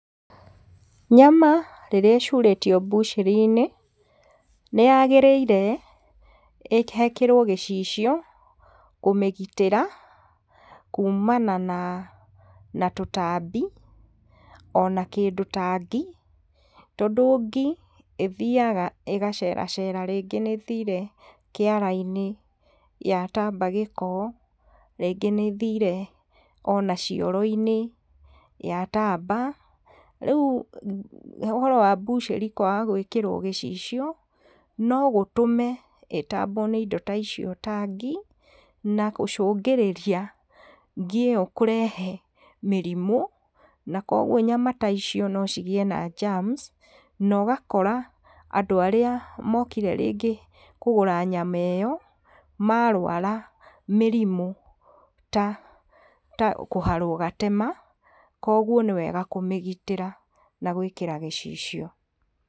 Nyama rĩrĩa ĩcurĩtio mbucĩri-inĩ, nĩyagĩrĩre hekĩrwo gĩcicio, nĩgetha kũmĩgitĩra kumana na tũtambi, ona kĩndũ ta ngi, tondũ ngi ĩthiaga ĩgacere cera, rĩngĩ nĩĩthire kĩara-inĩ yatamba gĩko, rĩngĩ nĩthire ona cioro-inĩ yatamba, rĩu ũhoro wa mbucĩri kwaga gwĩkĩrwo gĩcicio, nogũtũme ĩtambwo nĩ indo ta icio ta ngi, na gũcũngĩrĩria ngi ĩyo kũrehe mĩrimũ na koguo nyama ta icio nocigĩe na germs, na ũgakora andũ arĩa mokire rĩngĩ kũgũra nyama ĩyo, marwara mĩrimũ ta kũharwo gatema, koguo nĩwega kũmĩgitĩra na gwĩkĩra gĩcicio.